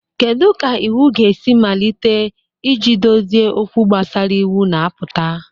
Kedu ka iwu ga-esi malite iji dozie okwu gbasara iwu na-apụta?